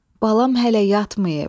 Balam hələ yatmayıb.